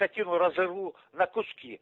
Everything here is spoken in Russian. скотину разорву на куски